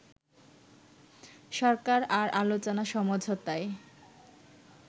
সরকার আর আলোচনা-সমঝোতায়